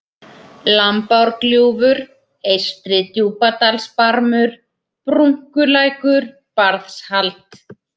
Lambárgljúfur, Eystri-Djúpadalsbarmur, Brunkulækur, Barðshald